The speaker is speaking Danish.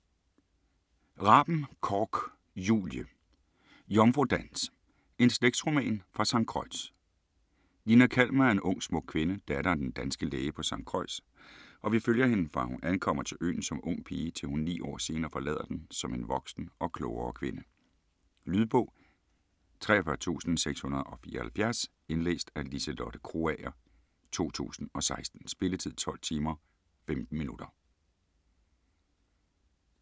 Raben-Korch, Julie: Jomfrudans: en slægtsroman fra Sankt Croix Nina Kalmer er en ung smuk kvinde, datter af den danske læge på St. Croix, og vi følger hende fra hun ankommer til øen som ung pige til hun 9 år senere forlader den som en voksen og klogere kvinde. Lydbog 43674 Indlæst af Liselotte Krogager, 2016. Spilletid: 12 timer, 15 minutter.